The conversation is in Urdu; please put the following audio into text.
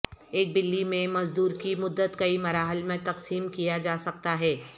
ایک بلی میں مزدور کی مدت کئی مراحل میں تقسیم کیا جا سکتا ہے